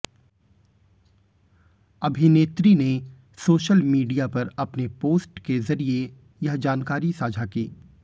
अभिनेत्री ने social media पर अपने पोस्ट के जरिए यह जानकारी साझा की